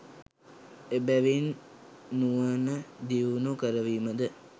එබැවින් නුවණ දියුණු කරවීම ද